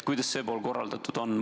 Kuidas see pool on korraldatud?